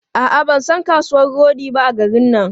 A'a, ban san kasuwan rodi ba a garin nan.